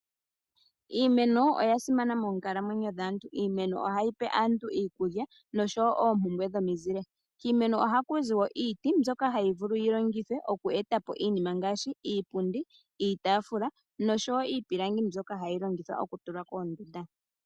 Iimeno oya simana moonkalamwenyo dhaantu. Iimeno ohayi pe aantu iikulya noshowo oompumbwe dhomizile. Kiimeno ohaku zi wo iiti mbyoka hayi vulu yi longithwe oku eta po iinima ngaashi iipundi, iitaafula noshowo iipilangi mbyoka hayi longithwa okutulwa koondunda.